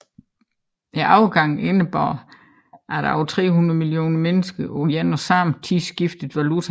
Overgangen indebar at over 300 millioner mennesker på en og samme tid skiftede valuta